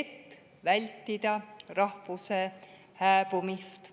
et vältida rahvuse hääbumist.